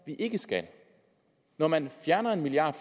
vi ikke skal når man fjerner en milliard